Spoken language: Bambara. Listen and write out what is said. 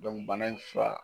bana in fura